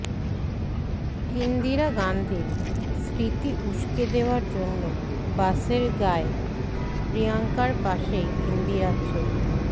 ইন্দিরা গান্ধীর স্মৃতি উসকে দেওয়ার জন্য বাসের গায়ে প্রিয়ঙ্কার পাশেই ইন্দিরার ছবি